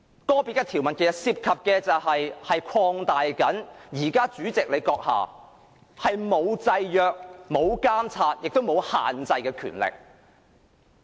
個別條文其實涉及擴大現時主席閣下不受制約、監察或限制的權力。